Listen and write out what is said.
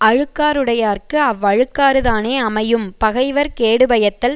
அழுக்காறுடையார்க்கு அவ்வழுக்காறு தானே அமையும் பகைவர் கேடுபயத்தல்